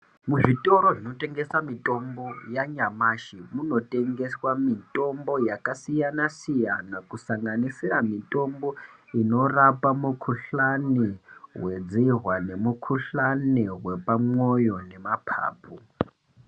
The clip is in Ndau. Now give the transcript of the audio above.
Muzvitoro zvinotengese mitombo yanyamashi munotengeswa mitombo yakasiyana siyana kusanganisira mitombo inorapa mukuhlani wedzihwa nemukuhlani wepamwoyo neamapapu.